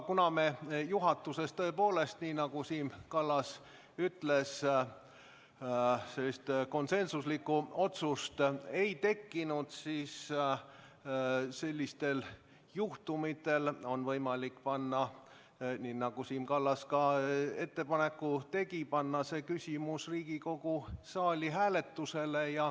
Kuna meil juhatuses tõepoolest – nagu Siim Kallas ütles – konsensuslikku otsust ei tehtud, siis sellisel juhul on võimalik panna – nagu Siim Kallas ka ettepaneku tegi – see küsimus Riigikogu saalis hääletusele.